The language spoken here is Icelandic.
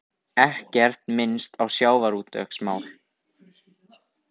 Ekkert minnst á sjávarútvegsmál